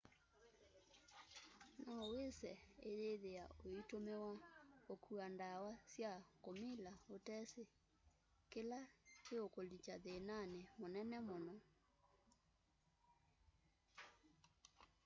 nowĩse ũyĩthĩa ũitũmĩwa ũkua ndawa sya kũmila ũteesĩ kĩla kĩkũũlikya thĩnanĩ mũnene mũno